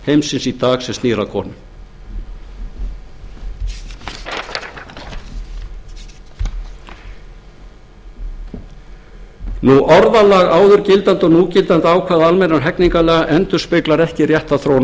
heimsins í dag sem snýr að konum orðalag áður gildandi og núgildandi ákvæða almennra hegningarlaga endurspeglar ekki rétta þróun á